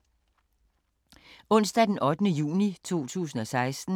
Onsdag d. 8. juni 2016